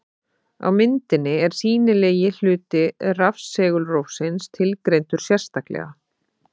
Á myndinni er sýnilegi hluti rafsegulrófsins tilgreindur sérstaklega.